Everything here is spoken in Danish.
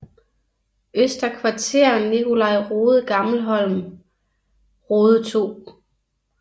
Øster Kvarter Nicolai Rode Gammelholm Rode 2